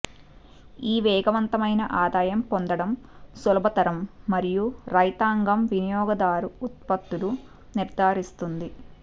ఈ వేగవంతమైన ఆదాయం పొందడం సులభతరం మరియు రైతాంగం వినియోగదారు ఉత్పత్తులు నిర్ధారిస్తుంది